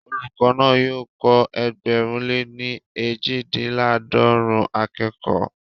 Olùkọ́ náà yóò kọ́ ẹgbẹ̀rún lè ní eejidinlaadọrun akẹ́kọ̀ọ́